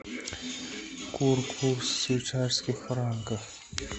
курс швейцарских франков